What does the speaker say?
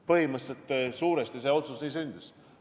Põhimõtteliselt see otsus suuresti nii sündis.